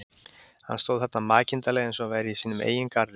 Hann stóð þarna makindalega eins og hann væri í sínum eigin garði.